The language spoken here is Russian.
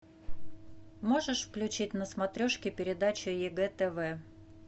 можешь включить на смотрешке передачу егэ тв